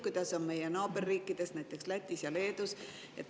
Kuidas on meie naaberriikides, näiteks Lätis ja Leedus?